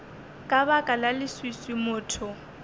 ka baka la leswiswi motho